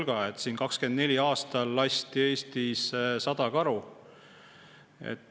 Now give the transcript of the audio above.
2024. aastal lasti Eestis 100 karu.